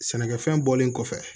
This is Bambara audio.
Sɛnɛkɛfɛn bɔlen kɔfɛ